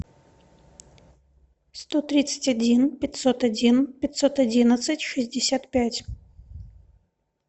сто тридцать один пятьсот один пятьсот одиннадцать шестьдесят пять